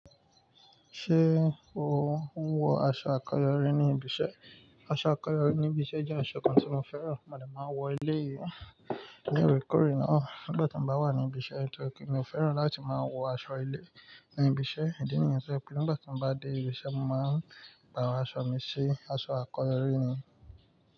Ṣé o ń wọ aṣọ akọyori ní ibiṣẹ́? Aṣọ akọyori ní ibiṣẹ́ jẹ́ aṣọ kan tí mo fẹ́ràn, mo lè máa wọ eleyìí. Ní ìrékúrè náà, nígbà tí mo bá wà ní ibiṣẹ́, tọ́ri pé mi ò fẹ́ràn láti máa wọ aṣọ ilé ní ibiṣẹ́. Ìdí nìyẹn tó je pé nígbà tí mo bá dé ibiṣẹ́, mo máa ń paro aṣọ mi sí aṣọ akọyori ni.